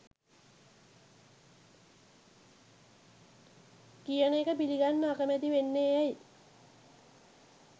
කියන එක පිළිගන්න අකමැති වෙන්නේ ඇයි